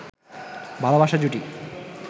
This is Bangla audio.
ভালবাসার জুটি